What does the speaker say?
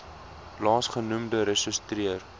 laas genoemde ressorteer